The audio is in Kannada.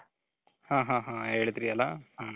ಹಾ ಹಾ ಹೇಳಿದ್ರಿ ಅಲ .